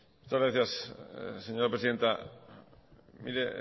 gracias señora presidenta mire